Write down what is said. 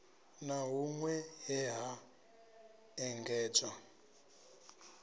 na hunwe he ha engedzwa